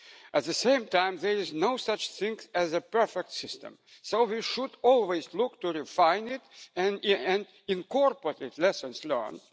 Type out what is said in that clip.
At the same time, there is no such thing as a perfect system, so we should always look to refine it and incorporate lessons learned.